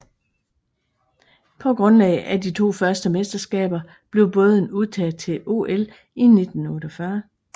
På grundlag af de to første mesterskaber blev båden udtaget til OL i 1948